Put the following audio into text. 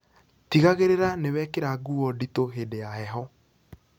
Tigagirirĩa niwekira nguo nditu hĩndĩ ya heho